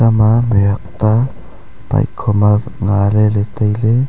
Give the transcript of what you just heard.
ekha ma mih huak ta bike kho ma nga lele taile